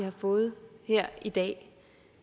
har fået her i dag